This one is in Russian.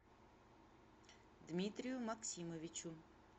дмитрию максимовичу